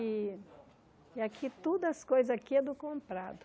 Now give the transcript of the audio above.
E e aqui, todas as coisas aqui é do comprado.